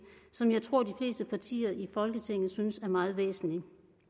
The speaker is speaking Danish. som jeg tror at de fleste partier i folketinget synes er meget væsentlig